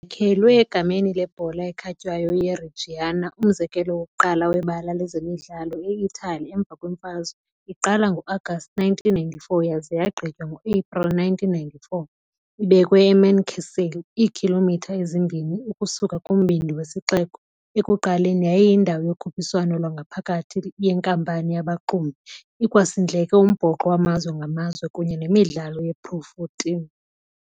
Yakhelwe egameni lebhola ekhatywayo ye IReggiana, umzekelo wokuqala webala lezemidlalo eItali emva kwemfazwe, iqala ngo-Agasti 1994 yaza yagqitywa ngo-Aprili 1995, ibekwe eMancasale, iikhilomitha ezimbini ukusuka kumbindi wesixeko. Ekuqaleni yayiyindawo yokhuphiswano lwangaphakathi yenkampani yabaxumi, ikwasindleke umbhoxo wamazwe ngamazwe kunye nemidlalo yePro14.